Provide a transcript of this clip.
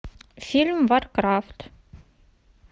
фильм варкрафт